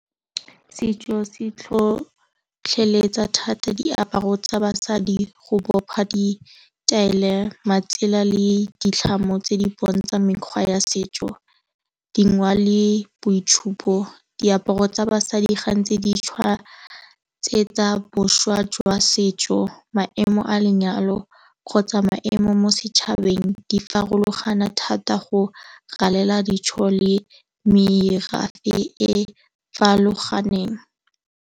Setso se tlhotlheletsa thata diaparo tsa basadi go bopa di taelo, matsela le ditlhamo tse di bontshang mekgwa ya setso. Dingwao le boitshupo, diaparo tsa basadi ga ntsi di tshwaya boswa jwa setso maemo a lenyalo kgotsa maemo mo setšhabeng di farologana thata go galela dijo le merafe e farologaneng.